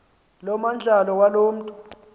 lomandlalo waloo mntu